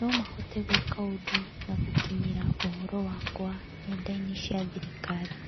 no mahote gwĩka ũndũ na gũkinyĩra ũhoro wakwa nenda-inĩ cia thirikari.